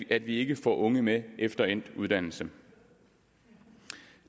at vi ikke får unge med efter endt uddannelse